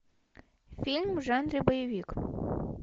фильм в жанре боевик